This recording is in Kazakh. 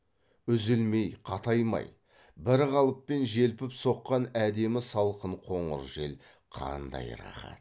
үзілмей қатаймай бір қалыппен желпіп соққан әдемі салқын қоңыр жел қандай рақат